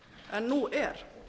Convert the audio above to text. en nú er